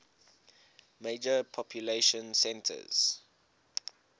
major population centers